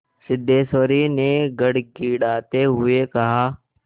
सिद्धेश्वरी ने गिड़गिड़ाते हुए कहा